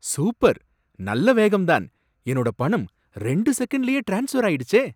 Super. நல்ல வேகம்தான். என்னோட பணம் ரெண்டு செகண்ட்லயே ட்ரான்ஸ்ஃபர் ஆயிடுச்சே.